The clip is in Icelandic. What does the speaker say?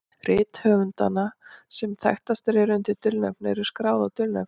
Rit höfunda sem þekktastir eru undir dulnefni eru skráð á dulnefnið.